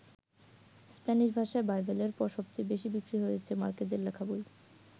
Spanish ভাষায় বাইবেলের পর সবচেয়ে বেশি বিক্রি হয়েছে মার্কেজের লেখা বই।